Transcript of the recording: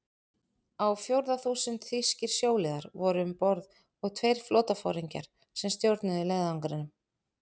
Á fjórða þúsund þýskir sjóliðar voru um borð og tveir flotaforingjar, sem stjórnuðu leiðangrinum.